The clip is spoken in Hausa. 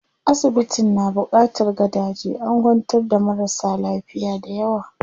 Asibitin na buƙatar gadaje, an kwantar da marasa lafiya dayawa.